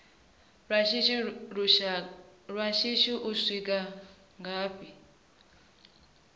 lwa shishi u swika ngafhi